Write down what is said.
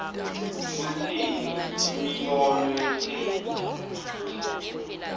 kutsini imibono yetheksthi